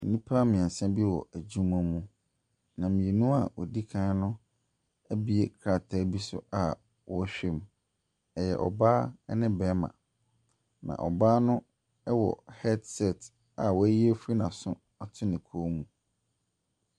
Nnipa mmiɛnsa bi wɔ adwuma mu. Na mmienu a wɔdi kan no abue krataa bi so a wɔrehwɛ mu, ɛyɛ ɔbaa ne barima, na ɔbaa no wɔ headset a wayi afiri n’aso ato ne kɔn mu.